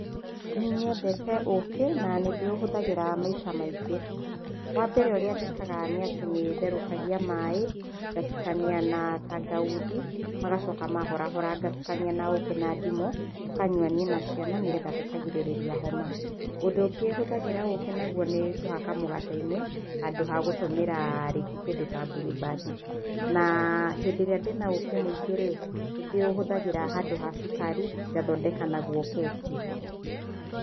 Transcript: Nĩnyendete ũkĩ, na nĩndĩũhũthagĩra maita maingĩ, wambere ũrĩa njĩkaga nĩ atĩ nĩtherũkagia maĩ, ngatukania na tangauthi, magacoka mahorahora ngatukania na ũkĩ na ndimũ, tũkanyua niĩ na ciana nĩgetha tũkagirĩrĩria homa, ũndũ ũngĩ hũthagĩra ũkĩ naguo, nĩkũhaka mũgate-inĩ, handũ ha gũtũmĩra, rĩngĩ kĩndũ ta blueband, na hĩndĩ ĩrĩa ndĩna ũkĩ mũingĩ-rĩ, nĩndĩũhũthagĩra handũ ha cukari ngathondeka naguo keki.